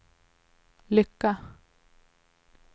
lycka